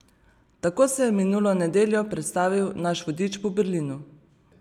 Tako se je minulo nedeljo predstavil naš vodič po Berlinu.